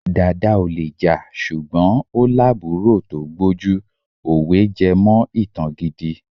Dàda ò le jà ṣùgbọ́n ó lábùúrò tó gbójú. Òwe jẹ́mọ ìtàn gidi.